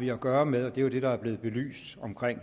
vi har at gøre med og det er jo det der er blevet belyst omkring